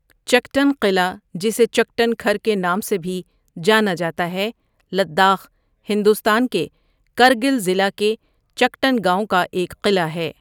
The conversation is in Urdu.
چکٹن قلعہ، جسے چکٹن کھر کے نام سے بھی جانا جاتا ہے، لداخ، ہندوستان کے کرگل ضلع کے چکٹن گاؤں کا ایک قلعہ ہے۔